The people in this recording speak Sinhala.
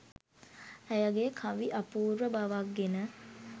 ඇයගේ කවි අපූර්ව බවක් ගෙන